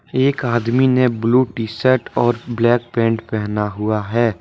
एक आदमी ने ब्ल्यू टीशर्ट और ब्लैक पेंट पहना हुआ है।